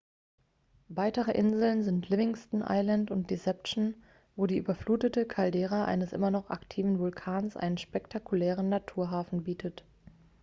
weitere inseln sind livingston island und deception wo die überflutete caldera eines immer noch aktiven vulkans einen spektakulären naturhafen bietet